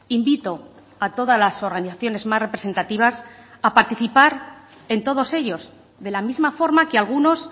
invito a todas las organizaciones más representativas a participar en todos ellos de la misma forma que algunos